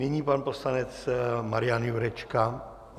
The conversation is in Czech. Nyní pan poslanec Marian Jurečka...